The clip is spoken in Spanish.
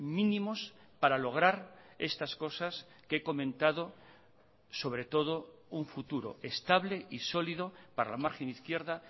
mínimos para lograr estas cosas que he comentado sobre todo un futuro estable y sólido para la margen izquierda